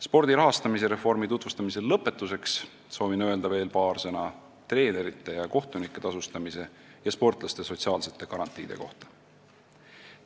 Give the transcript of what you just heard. Spordi rahastamise reformi tutvustamise lõpetuseks soovin öelda veel paar sõna treenerite ja kohtunike tasustamise ning sportlaste sotsiaalsete garantiide kohta.